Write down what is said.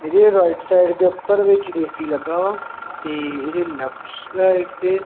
ਇਹਦੇ right side ਦੇ ਊਪਰ ਵਿਚ ਐ_ਸੀ ਲੱਗਾ ਆ ਤੇ ਇਹਦੇ ਲੇਫ਼੍ਟ ਸਾਈਡ ਤੇ--